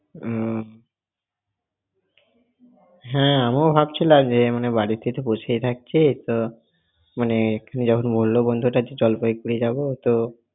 আহ হ্যাঁ আমি ও ভাবছিলাম যে মানে বাড়িতে তো বসেই থাকছি তো মানে, যখন বলল বন্ধুটা যে জলপাইগুড়ি যাব তো।